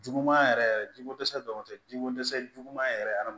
Juguman yɛrɛ yɛrɛ jiko dɛsɛ dɔrɔn tɛ jiko dɛsɛ juguman yɛrɛ yɛrɛ